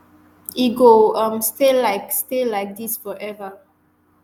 e go um stay like stay like dis forever